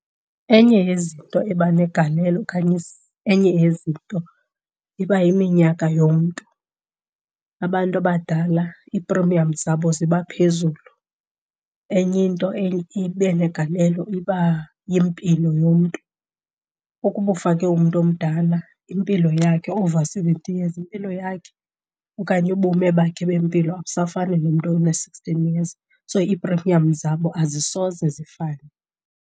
Enye yezinto eba negalelo okanye enye yezinto iba yiminyaka yomntu, abantu abadala iiprimiyamu zabo ziba phezulu. Enye into eye ibe negalelo iba yimpilo yomntu. Ukuba ufake umntu omdala impilo yakhe, over seventy years impilo yakhe okanye ubume bakhe bempilo abusafani nomntu ona-sixteen years, so iiprimiyamu zabo azisoze zifane.